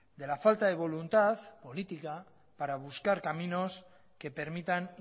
de la falta de voluntad política para buscar caminos que permitan